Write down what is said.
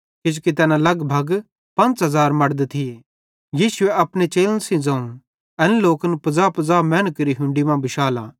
किजोकि तैन लगभग 5000 मड़द थिये यीशुए अपने चेलन सेइं ज़ोवं एन लोकन पांज़हपांज़ह मैनू केरि हुन्डी मां बिशाला